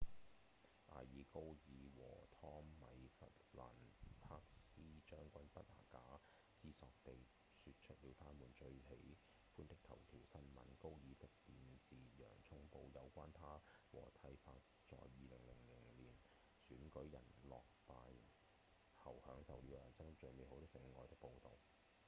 艾爾·高爾和湯米·弗蘭克斯將軍不假思索地說出了他們最喜歡的頭條新聞高爾的便是《洋蔥報》有關他和蒂珀在2000年選舉人團落敗後享受了一生中最美好的性愛的報導